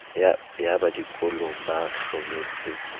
ba ya dikolong ba hlometse